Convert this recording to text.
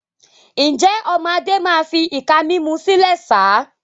Ǹjẹ́, ọmọ Adé máa fi ìka mímú sílẹ̀ sá?